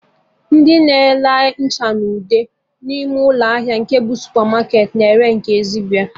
Ndị na-ere ncha na ude n'ime ụlọ ahịa nke bụ supamarketị na ere nke ezigbo